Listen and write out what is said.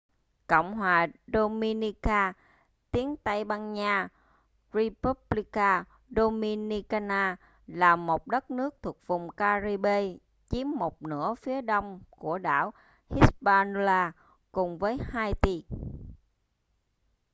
cộng hòa dominica tiếng tây ban nha: república dominicana là một đất nước thuộc vùng ca-ri-bê chiếm một nửa phía đông của đảo hispaniola cùng với haiti